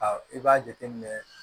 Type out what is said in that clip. i b'a jateminɛ